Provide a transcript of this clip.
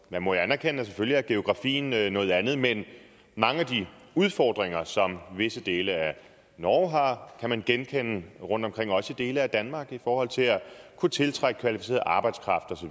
man må jo anerkende at geografien selvfølgelig er noget andet men mange af de udfordringer som visse dele af norge har kan man genkende rundtomkring også i dele af danmark i forhold til at kunne tiltrække kvalificeret arbejdskraft og